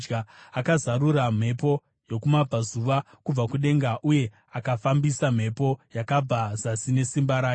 Akazarura mhepo yokumabvazuva kubva kudenga, uye akafambisa mhepo yakabva zasi nesimba rake.